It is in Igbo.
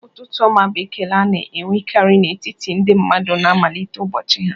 "Ụtụtụ ọma" bụ ekele a na-enwekarị n'etiti ndị mmadụ na-amalite ụbọchị ha